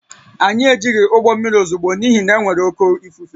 Anyị ejighị ụgbọ mmiri ozugbo n’ihi na e nwere oké ifufe